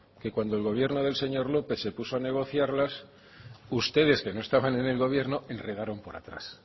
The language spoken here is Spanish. que cuando el gobierno del señor lópez se puso a negociarlas ustedes que no estaban en el gobierno enredaron por atrás